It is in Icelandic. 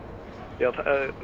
því að